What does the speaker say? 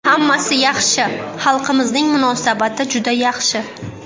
Hammasi yaxshi, xalqimizning munosabati juda yaxshi.